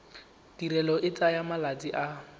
tirelo e tsaya malatsi a